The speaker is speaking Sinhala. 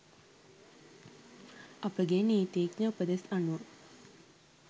අපගේ නීතිඥ උපදෙස් අනුව